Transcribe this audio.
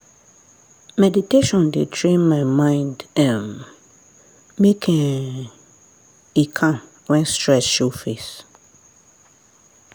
meditation dey train my mind um make um e calm when stress show face.